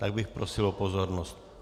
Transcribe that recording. Tak bych prosil o pozornost.